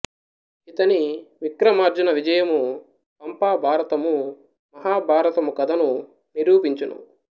ఈతని విక్రమార్జున విజయము పంపభారతము మహా భారతము కదను నిరూపించును